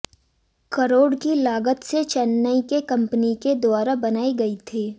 करोड़ की लागत से चेन्नई के कंपनी के द्वारा बनाई गई थी